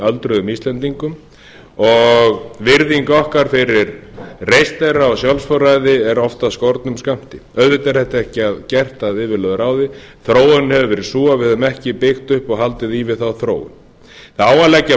öldruðum íslendingum og virðing okkar fyrir reisn þeirra og sjálfsforræði er oft af skornum skammti auðvitað er þetta ekki gert að yfirlögðu ráðið þróunin hefur verið sú að við höfum ekki byggt upp og haldið í við þá þróun það á að leggja